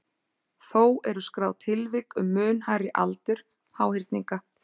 Þó eru skráð tilvik um mun hærri aldur háhyrninga.